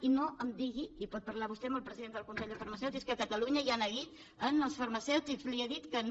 i no em digui i pot parlar vostè amb el president del consell de farmacèutics que a catalunya hi ha neguit en els farmacèutics li he dit que no